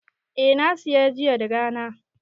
I, na saya jiya da rana